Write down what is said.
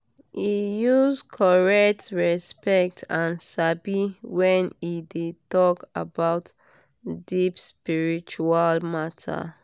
e use correct respect and sabi when e dey talk about deep spiritual matter.